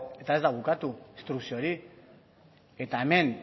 eta ez da bukatu instrukzio hori eta hemen